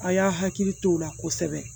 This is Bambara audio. A y'a hakili to o la kosɛbɛ